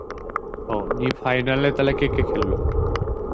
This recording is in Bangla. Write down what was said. ও নিয়ে final এ তাহলে কে কে খেলল?